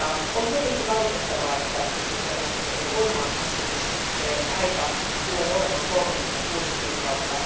On tietenkin valitettavaa, että voimaanastumisaika tulee olemaan 36 kuukautta.